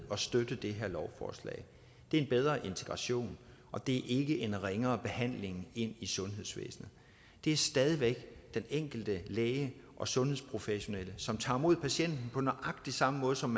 at støtte det her lovforslag det er en bedre integration og det ikke en ringere behandling i sundhedsvæsenet det er stadig væk den enkelte læge og sundhedsprofessionelle som tager imod patienten på nøjagtig samme måde som